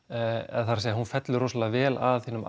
eða það er hún fellur rosalega vel að hinum